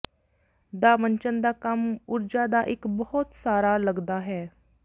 ਦਾ ਮੰਚਨ ਦਾ ਕੰਮ ਊਰਜਾ ਦਾ ਇੱਕ ਬਹੁਤ ਸਾਰਾ ਲੱਗਦਾ ਹੈ